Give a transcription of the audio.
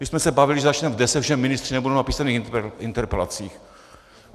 My jsme se bavili, že začneme v deset, že ministři nebudou na písemných interpelacích.